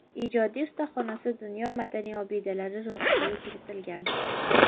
Ijodiy ustaxonasi dunyo madaniy obidalari ro‘yxatiga kiritilgan.